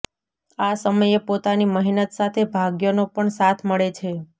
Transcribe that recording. આ સમયે પોતાની મહેનત સાથે ભાગ્યનો પણ સાથ મળે છે